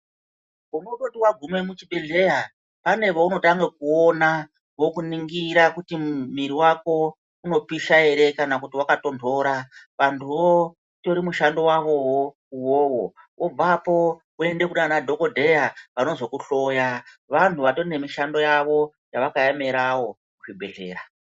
Usati waguma muchibhehlera pane vaunotanga kuona vokuningira kuti miri wako unopisha ere kana kutondora vandu vatori nemushando wavowo uyoyo wopedza woenda kune madhokodheya vanozokuhloya wavakaemerawo muzvibhehlera.